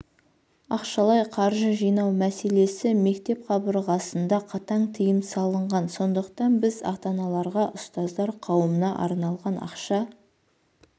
ақшалай қаржы жинау мәселесі мектеп қабырғасында қатаң тыйым салынған сондықтан біз ата-аналарға ұстаздар қауымына арналған ақша